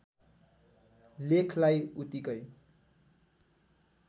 लेखलाई उतिकै